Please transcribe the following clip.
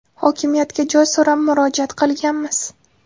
Hokimiyatga joy so‘rab murojaat qilganmiz.